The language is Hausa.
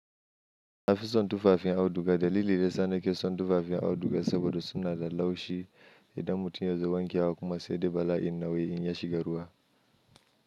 Na fi son tufafin auduga. Dalili da yasa nake son tufafin auduga saboda suna da laushi idan mutum ya zo wankewa kuma sai de bala'in nauyi in ya shiga ruwa.